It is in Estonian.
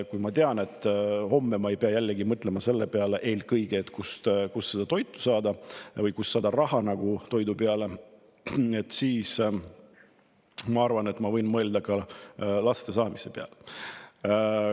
Kui ma tean, et homme ma ei pea jällegi mõtlema eelkõige selle peale, kust seda toitu saada või kust saada raha toidu ostmiseks, siis ma arvan, et ma võin mõelda ka laste saamise peale.